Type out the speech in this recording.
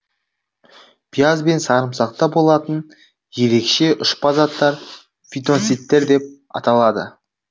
пияз бен сарымсақта болатын ерекше ұшпа заттар фитонцидтер деп аталады